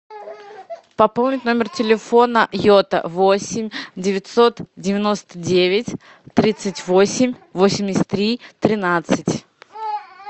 пополнить номер телефона йота восемь девятьсот девяносто девять тридцать восемь восемьдесят три тринадцать